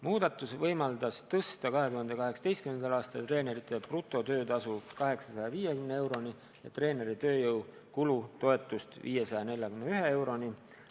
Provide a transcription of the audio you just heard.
Muudatus võimaldas tõsta 2018. aastal treenerite brutotöötasu 850 euroni ja treeneri tööjõu kulu toetuse 541 euroni.